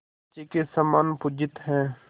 शची के समान पूजित हैं